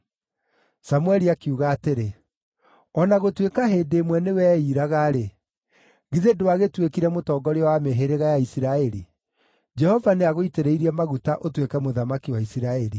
Samũeli akiuga atĩrĩ, “O na gũtuĩka hĩndĩ ĩmwe nĩweiiraga-rĩ, githĩ ndwagĩtuĩkire mũtongoria wa mĩhĩrĩga ya Isiraeli? Jehova nĩagũitĩrĩirie maguta ũtuĩke mũthamaki wa Isiraeli.